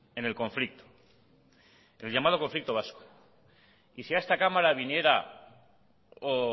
en el conflicto el llamado conflicto vasco y si a esta cámara viniera o